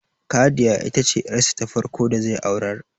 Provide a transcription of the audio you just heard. Khadiya ita ce yar sa ta farko da zai aurar